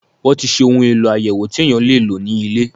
Wọ́n ti ṣe ohun èlò àyẹ̀wò tí èèyàn lè lò ní ilé.